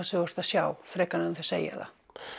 sem þú ert að sjá frekar en að segja